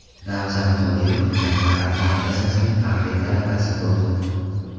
Ramzan Qodirov Mir Arab madrasasining faxriy talabasi bo‘ldi.